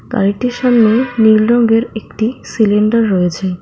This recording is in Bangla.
গাড়িটির সামনে নীল রঙ্গের একটি সিলিন্ডার রয়েছে।